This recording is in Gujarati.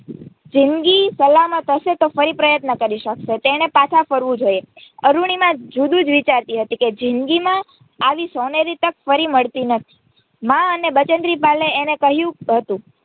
જિંદગી સલામત હશે તો ફરી પ્રયત્નો કરી શકશે તેણે પાછા ફરવું જોઈએ અરૂણિમા જુદું જ વિચારતી હતી કે જિંદગીમાં આવી સોનેરી તક ફરી મળતી નથી મા અને બચેન્દ્રી પાલ એ એણે કહ્યું હતું.